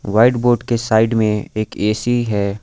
White board के side में एक ए_सी है।